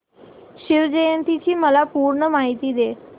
शिवजयंती ची मला पूर्ण माहिती दे